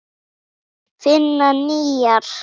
Finna nýjar.